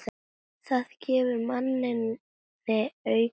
Það gefur manni aukinn kraft.